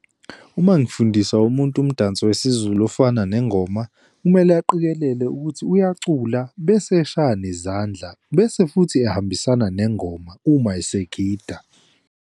Uma ngifundisa umuntu umdanso wesiZulu ofana nengoma, kumele aqikelele ukuthi uyacula, bese eshaya nezandla, bese futhi ehambisana nengoma uma esegida.